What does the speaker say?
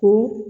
Ko